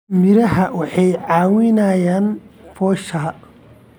Miraha waxay caawiyaan foosha.